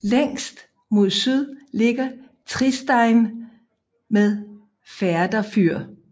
Længst mod syd ligger Tristein med Færder fyr